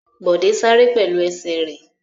Bọ̀dé sáré pẹ̀lú ẹsẹ̀ rẹ̀.